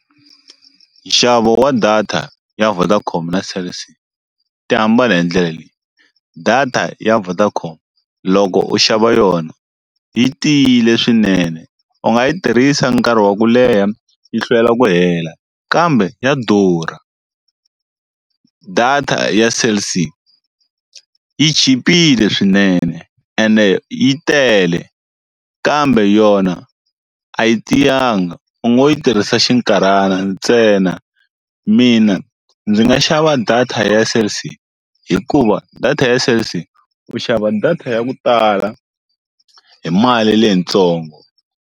Nxavo wa data ya Vodacom na Cell C ti hambana hi ndlela leyi data ya Vodacom loko u xava yona yi tiyile swinene u nga yi tirhisa nkarhi wa ku leha yi hlwela ku hela kambe ya durha, data ya Cell C yi chipile swinene ene yi tele kambe yona a yi tiyanga u ngo yi tirhisa xinkarhana ntsena, mina ndzi nga xava data ya Cell C hikuva data ya Cell C u xava data ya ku tala hi mali leyitsongo.